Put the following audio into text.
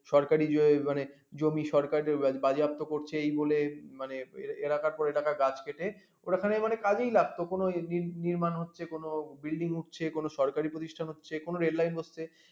সরকারী মানে জমি সরকার বাজেয়াপ্ত করছে এই বলে মানে এরা এলাকার পর এলাকা গাছ কেটে ওরা নির্মাণ হচ্ছে কোনো বিল্ডিং হচ্ছে কোনো সরকারী প্রতিষ্ঠান হচ্ছে কোনো রেললাইন হচ্ছে